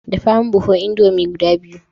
Dafa min buhun indomie guda biyu